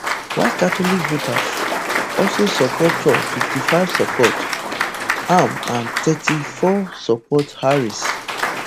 white catholic voters also support trump fifty-five support am and thirty-four support harris